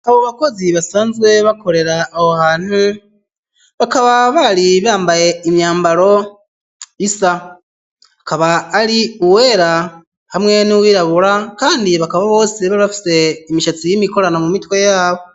Abo bakozi basanzwe bakorera aho hantu bakaba bari bambaye imyambaro isa ikaba ari uwera hamwe n'uwirabura kandi bakaba bose bari bafise imishatsi y'imikorano mu mitwe yabo